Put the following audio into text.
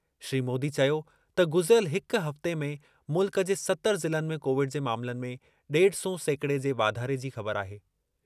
श्री मोदी चयो त गुज़िरियल हिक हफ़्ते में मुल्क जे सतर ज़िलनि में कोविड जे मामलनि में डेढ सौ सेकिड़े जे वाधारे जी ख़बरु आहे।